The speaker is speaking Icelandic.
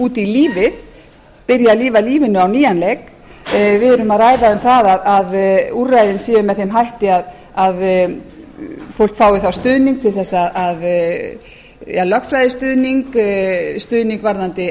út í lífið byrja að lifa lífinu á nýjan leik við erum að ræða um það að úrræðin séu með þeim hætti að fólk fái þá stuðning lögfræðistuðning stuðning varðandi